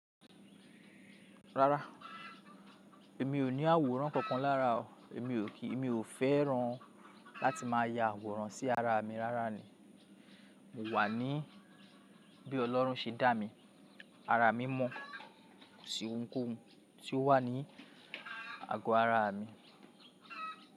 Rárá, èmi ò ní àwòrán kankan lára o, emi o ki Èmi ò fẹ́ràn láti má a ya àwòrán sí ara mi rárá ni. Mo wà ní bí Ọlọ́run ṣe dá mi, ara mí mọ́, kò sí ohunkóhun tí ó wà ní àgọ́ ara mi.